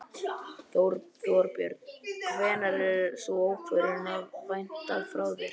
Þorbjörn: Hvenær er sú ákvörðunar að vænta frá þér?